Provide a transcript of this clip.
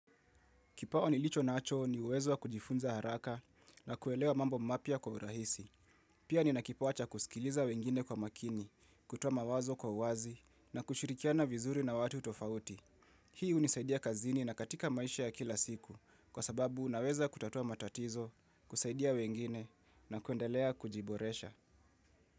Kipawa nilicho nacho ni uwezo wa kujifunza haraka na kuelewa mambo mapya kwa urahisi. Pia nina kipawa cha kusikiliza wengine kwa makini, kutoa mawazo kwa uwazi na kushirikiana vizuri na watu tofauti. Hii hunisaidia kazini na katika maisha ya kila siku kwa sababu unaweza kutatua matatizo, kusaidia wengine na kuendelea kujiboresha.